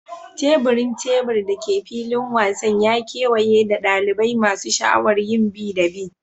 Teburin tebur da ke filin wasan ya kewaye da dalibai masu sha'awar yin bi da bi.